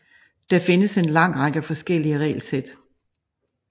Der findes en lang række forskellige regelsæt